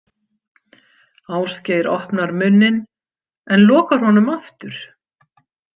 Ásgeir opnar munninn en lokar honum aftur.